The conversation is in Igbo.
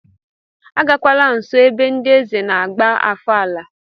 Agakwala nso ebe ndị eze na-agba ofala!